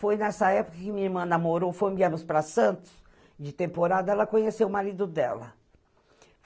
Foi nessa época que minha irmã namorou, fomos enviadas para Santos, de temporada, ela conheceu o marido dela.